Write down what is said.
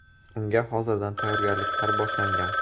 Unga hozirdan tayyorgarliklar boshlangan.